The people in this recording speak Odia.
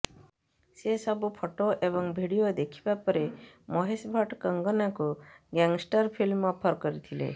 ସେ ସବୁ ଫଟୋ ଏବଂ ଭିଡିଓ ଦେଖିବା ପରେ ମହେଶ ଭଟ୍ଟ କଙ୍ଗନାଙ୍କୁ ଗ୍ୟାଙ୍ଗଷ୍ଟର ଫିଲ୍ମ ଅଫର କରିଥିଲେ